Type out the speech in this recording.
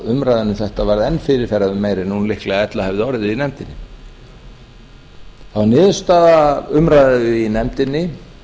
umræðan um þetta var enn fyrirferðarmeiri en hún líklega ella hefði orðið í nefndinni það var niðurstaða umræðu í nefndinni